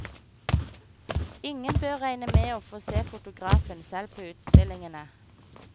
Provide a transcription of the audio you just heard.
Ingen bør regne med å få se fotografen selv på utstillingene.